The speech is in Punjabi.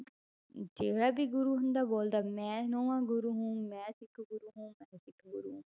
ਜਿਹੜਾ ਵੀ ਗੁਰੂ ਹੁੰਦਾ ਬੋਲਦਾ, ਮੈਂ ਨੋਂਵਾਂ ਗੁਰੂ ਹੂੰ, ਮੈਂ ਸਿੱਖ ਗੁਰੂ ਹੂੰ, ਮੈਂ ਸਿੱਖ ਗੁਰੂ ਹੂੰ।